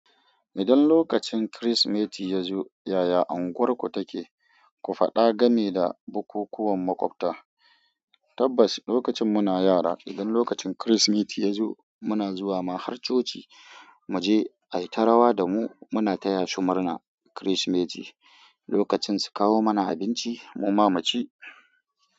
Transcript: Idan lokacin Kirsimeti ya zo, yaya unguwarku take? Ku faɗa game da bukukuwan maƙwabta. Tabbas, lokacin muna yara, idan lokacin Kirsimeti ya zo, muna zuwa ma har coci, mu je ai ta rawa da mu, muna taya su murna Kirsimeti. Lokacin su kawo mana abinci, mu ma mu ci.